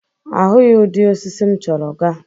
Ahụghị udị osisi m chọrọ ga.